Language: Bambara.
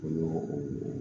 O y'o ye